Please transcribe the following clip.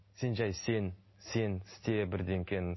сен жай сен сен істе